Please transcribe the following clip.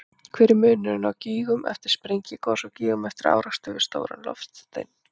Hver er munurinn á gígum eftir sprengigos og gígum eftir árekstur við stóran loftstein?